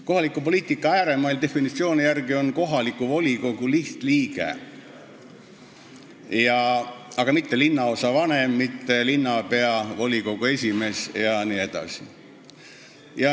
"Kohaliku poliitika ääremail" tähendab definitsiooni järgi kohaliku volikogu lihtliiget, mitte linnaosavanemat, linnapead, volikogu esimeest jne.